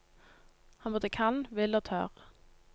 Han både kan, vil og tør.